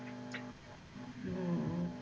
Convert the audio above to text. ਹਮ